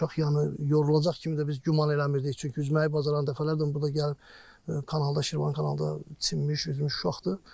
Uşaq yanı yorulacaq kimi də biz güman eləmirdik, çünki üzməyi bacaran dəfələrlə burda gəlib kanalda, Şirvan kanalda çimmiş, üzmüş uşaqdır.